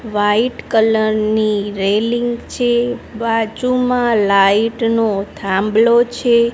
White colour ની railing છે બાજુમાં લાઇટ નો થાંભલો છે.